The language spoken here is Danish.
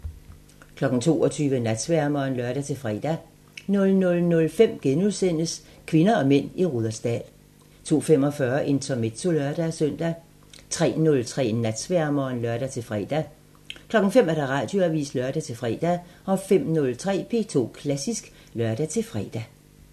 22:00: Natsværmeren (lør-fre) 00:05: P2 Koncerten – Kvinder og mænd i Rudersdal * 02:45: Intermezzo (lør-søn) 03:03: Natsværmeren (lør-fre) 05:00: Radioavisen (lør-fre) 05:03: P2 Klassisk (lør-fre)